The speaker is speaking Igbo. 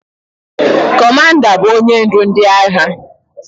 Kọmanda bụ onye ndu ndị agha